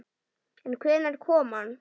En hvenær kom hann?